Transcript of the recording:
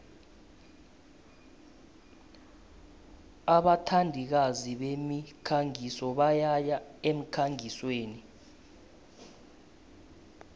abathandikazi bemikhangiso bayaya emkhangisweni